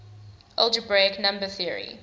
algebraic number theory